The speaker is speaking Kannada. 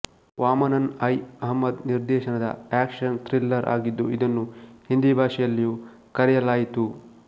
ವಾಮಾನನ್ ಐ ಅಹ್ಮದ್ ನಿರ್ದೇಶನದ ಆಕ್ಷನ್ ಥ್ರಿಲ್ಲರ್ ಆಗಿದ್ದು ಇದನ್ನು ಹಿಂದಿ ಭಾಷೆಯಲ್ಲಿಯೂ ಕರೆಯಲಾಯಿತು